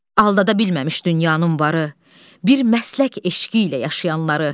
Aldada bilməmiş dünyanın varı bir məslək eşqi ilə yaşayanları.